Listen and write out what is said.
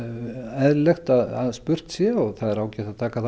eðlilegt að spurt sé og það er ágætt að taka þá